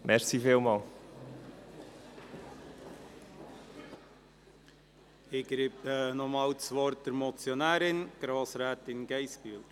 Ich gebe das Wort noch einmal der Motionärin, Grossrätin Geissbühler.